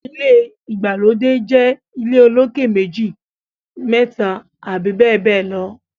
ilé ìgbàlódé jé ilé olokè meji, méta abbl